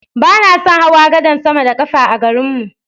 Ba na son hawa gadan sama da ƙafa a garin mu.